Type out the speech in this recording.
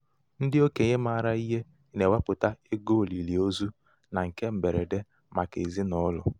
ndị okenye maara ihe na-ewepụta um ego olili ozu na um nke mgberede um màkà ezinaụlọ.